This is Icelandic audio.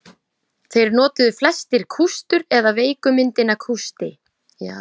Þeir notuðu flestir kústur eða veiku myndina kústi.